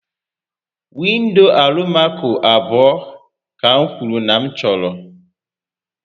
Windo Alụmaco abụọ ka m kwuru na m chọrọ